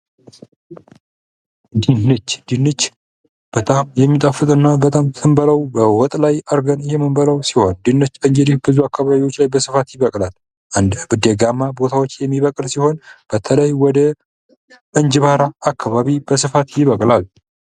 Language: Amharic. ድንች ድንች ፦በጣም የሚጣፍጥና በጣም ስንበላው በወጥ ላይ አድርገን የምንበላው ሲሆን ድንች ቦታዎች ላይ በብዛት ይበቅላል። በአንዳንድ ደጋማ አካባቢዎች ላይ የሚበቅል ሲሆን በተለይ ወደ እንጅባራ አካባቢ በስፋት ይበቅላል።